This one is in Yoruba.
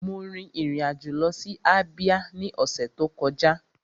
Mo rin ìrìn àjò lọ sí ìpínlẹ̀ Ábíá ní ọ̀sẹ̀ tó kọjá